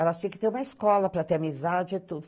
Elas tinham que ter uma escola para ter amizade e tudo.